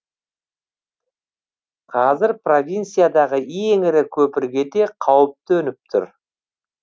қазір провинциядағы ең ірі көпірге де қауіп төніп тұр